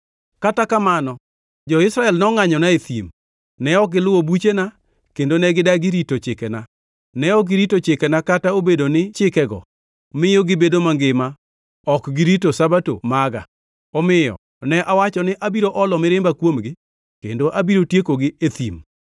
Kata kamano, jo-Israel nongʼanyona e thim. Ne ok giluwo buchena, kendo ne gidagi rito chikena. Ne ok girito chikena kata obedo ni chikego miyo gibedo mangima ok girito Sabato maga. Omiyo ne awacho ni abiro olo mirimba kuomgi kendo abiro tiekogi e thim.